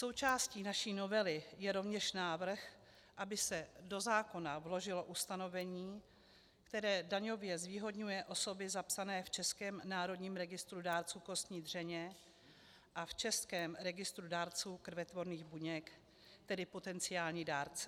Součástí naší novely je rovněž návrh, aby se do zákona vložilo ustanovení, které daňově zvýhodňuje osoby zapsané v Českém národním registru dárců kostní dřeně a v Českém registru dárců krvetvorných buněk, tedy potenciální dárce.